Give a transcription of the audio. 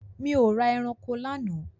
Mi ò ra eranko lánàá.